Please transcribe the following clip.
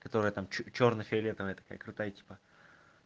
которая там чёрный фиолетовый такая крутая типа